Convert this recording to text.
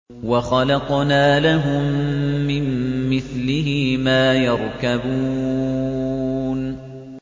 وَخَلَقْنَا لَهُم مِّن مِّثْلِهِ مَا يَرْكَبُونَ